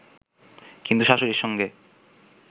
কিন্তু শাশুড়ীর সঙ্গে